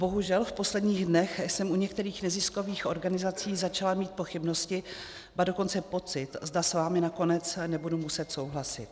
Bohužel, v posledních dnech jsem u některých neziskových organizací začala mít pochybnosti, ba dokonce pocit, zda s vámi nakonec nebudu muset souhlasit.